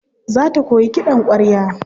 Za ta koyi kiɗan ƙwarya.